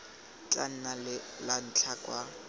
tla nna la ntlha kwa